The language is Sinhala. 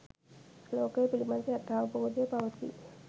ලෝකය පිළිබඳ යථාවබෝධය පවති